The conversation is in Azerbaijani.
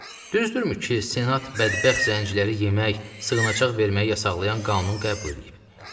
Düzdürmü ki, Senat bədbəxt zənciləri yemək, sığınacaq verməyi yasaqlayan qanunu qəbul eləyib.